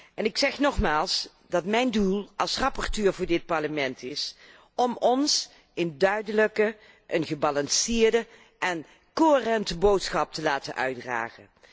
En ik zeg nogmaals dat het mijn doel als rapporteur voor dit Parlement is om ons een duidelijke, gebalanceerde en coherente boodschap te laten uitdragen.